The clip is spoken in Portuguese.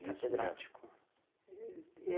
Catedrático? E